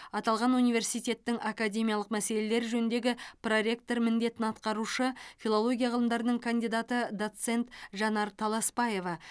аталған университеттің академиялық мәселелер жөніндегі проректор міндетін атқарушы филология ғылымдарының кандидаты доцент жанар таласпаева